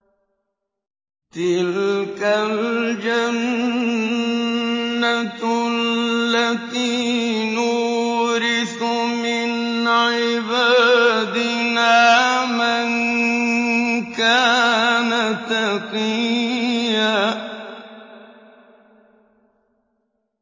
تِلْكَ الْجَنَّةُ الَّتِي نُورِثُ مِنْ عِبَادِنَا مَن كَانَ تَقِيًّا